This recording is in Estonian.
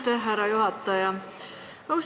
Aitäh, härra juhataja!